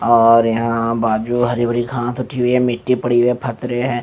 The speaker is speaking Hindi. और यहाँ बाजू हरी-भारी घास उठी हुई है मिट्टी पड़ी हुई है फतरे हैं ।